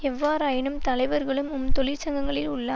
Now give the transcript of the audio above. எவ்வாறாயினும் தலைவர்களும் உம் தொழிற்சங்கங்களில் உள்ள